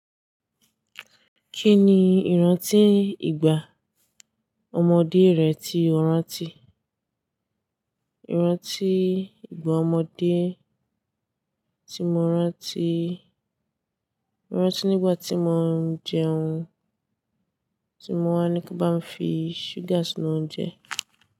Kí ni ìrántí ìgbà ọmọdé rẹ tí o rántí? Ìrántí ìgbà ọmọdé tí mo rántí, ìrántí nígbà tí mo ń jẹun, tí mo wá ní kí n bá fi sugar si inu ounjẹ.